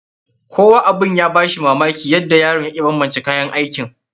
Kowa abun ya ba shi mamaki yadda yaron ya iya banbance kayan aikin.